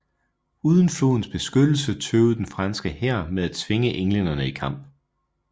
Uden flodens beskyttelse tøvede den franske hær med at tvinge englænderne i kamp